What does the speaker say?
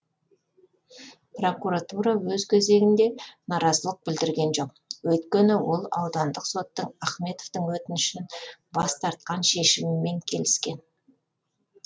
прокуратура өз кезегінде наразылық білдірген жоқ өйткені ол аудандық соттың ахметовтің өтінішін бас тартқан шешімімен келіскен